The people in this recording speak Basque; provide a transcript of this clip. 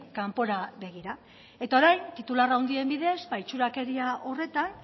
kanpora begira eta orain titular handien bidez itxurakeria horretan